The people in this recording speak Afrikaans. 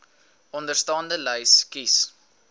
onderstaande lys kies